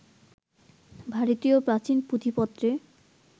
ভারতীয় প্রাচীন পুঁথিপত্রে